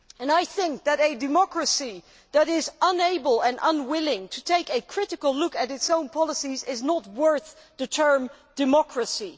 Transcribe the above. I think that a democracy that is unable and unwilling to take a critical look at its own policies is not worth the term democracy'.